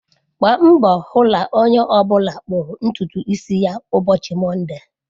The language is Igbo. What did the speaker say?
Gbaa mbọ hụ na onye ọ bụla kpụrụ ntutu isi ya ụbọchị Mọnde!